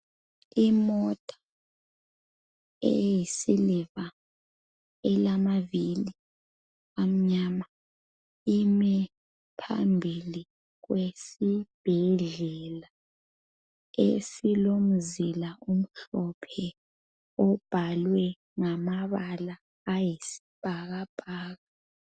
Imota eyisiliva elamavili amnyama imi phambili kwesibhedlela esilomzila omhlophe obhalwe ngamabala ayisibhakabhaka.